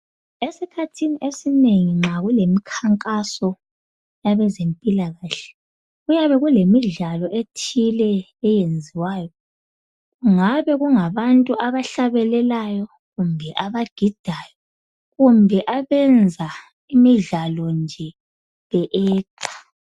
Esikhathini esinengi nxa kulemikhankaso yabezempilakahle kuyabe kulemidlalo ethile eyenziwayo ngabe kungabantu abahlabelelayo kumbe abagidayo kumbe abenza imidlalo nje be actor.